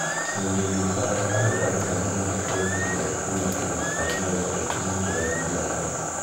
Ningĩ nĩ ĩtaaraga andũ arĩa mangĩenda kũrehe indo kuuma Kenya marĩ na wĩhokeku na njĩra ya biacara.